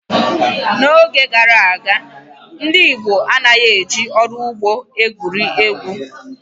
N’oge gara aga, ndị Igbo anaghị eji ọrụ ugbo egwuri egwu.